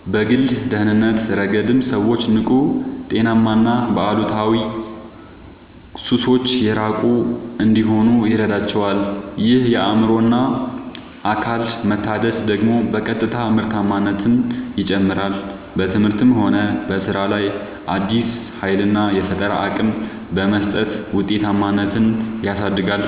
በግል ደህንነት ረገድም ሰዎች ንቁ: ጤናማና ከአሉታዊ ሱሶች የራቁ እንዲሆኑ ይረዳቸዋል። ይህ የአእምሮና አካል መታደስ ደግሞ በቀጥታ ምርታማነትን ይጨምራል: በትምህርትም ሆነ በሥራ ላይ አዲስ ኃይልና የፈጠራ አቅም በመስጠት ውጤታማነትን ያሳድጋል።